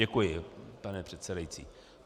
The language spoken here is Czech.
Děkuji, pane předsedající.